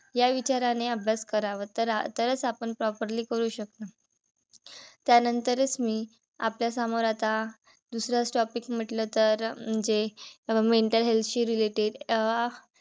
या विचाराने अभ्यास करावा तरच आपण properly करू शकतो. त्यानंतरच मी आपल्या समोर आता दुसराच topic म्हंटल तर म्हणजे mental health शी related अं